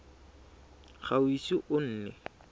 ga o ise o nne